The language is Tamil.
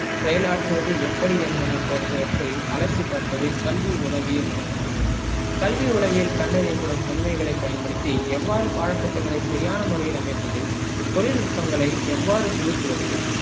செயலாற்றுவது எப்படி என்பன போன்றவற்றை அலசி பார்ப்பது கல்வி உளவியல் நோக்கமாகும் கல்வி உளவியல் கண்டறியப்படும் உண்மைகளை பயன்படுத்தி எவ்வாறு பாடத்திட்டங்களை சரியான முறையில் அமைப்பது தொழில்நுட்பங்களை எவ்வாறு புகுத்துவது